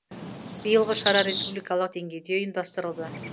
биылғы шара республикалық деңгейде ұйымдастырылды